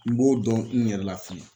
N b'o dɔn n yɛrɛ la fɛnɛ.